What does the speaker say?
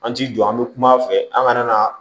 An ti jɔ an mi kum'a fɛ an kana na